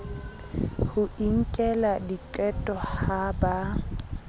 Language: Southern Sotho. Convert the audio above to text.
ho inkela diqeto ha ba